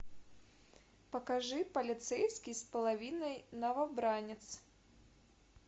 покажи полицейский с половиной новобранец